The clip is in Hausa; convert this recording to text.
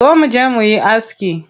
Zo muje muyi aski.